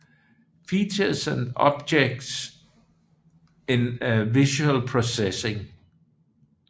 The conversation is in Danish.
Features and objects in visual processing